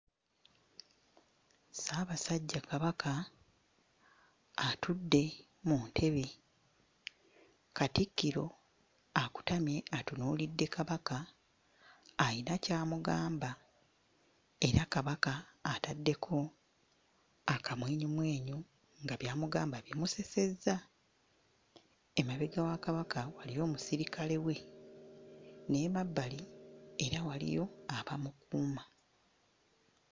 Ssaabasajja Kabaka atudde mu ntebe, katikkiro akutamye atunuulidde Kabaka ayina ky'amugamba era Kabaka ataddeko akamwenyumwenyu nga by'amugamba bimusesezza. Emabega wa Kabaka waliyo omusirikale we n'emabbali era waliyo abamukuuma.